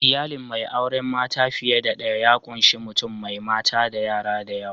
Iyalin mai auren mata fiye da daya ya ƙunshi mutum mai mata da yara da yawa.